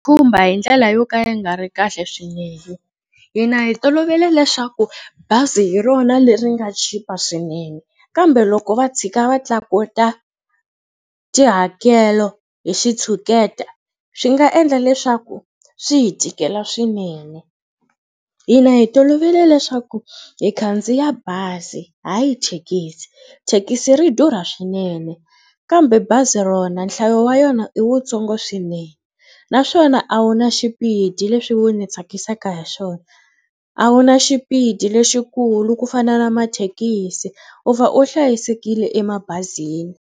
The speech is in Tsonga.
Khumba hi ndlela yo ka yi nga ri kahle swinene. Hina hi tolovele leswaku bazi hi rona leri nga chipa swinene kambe loko va tshika va tlakuta tihakelo hi xitshuketa swi nga endla leswaku swi hi tikela swinene. Hina hi tolovele leswaku hi khandziya bazi hayi thekisi. Thekisi ri durha swinene kambe bazi rona nhlayo wa yona i wutsongo swinene naswona a wu na xipidi leswi wu ni tsakisaka hi swona. A wu na xipidi lexikulu ku fana na mathekisi u va u hlayisekile emabazini.